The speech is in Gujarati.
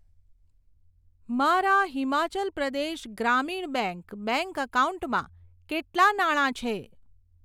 મારા હિમાચલ પ્રદેશ ગ્રામીણ બેંક બેંક એકાઉન્ટમાં કેટલા નાણા છે?